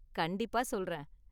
கண்டிப்பா சொல்றேன்.